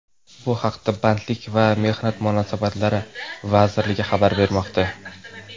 Bu haqda Bandlik va mehnat munosabatlari vazirligi xabar bermoqda .